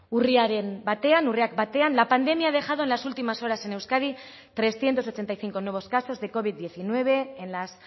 urriaren batean urriak batean la pandemia ha dejado en las últimas horas en euskadi trescientos ochenta y cinco nuevos casos de covid diecinueve en las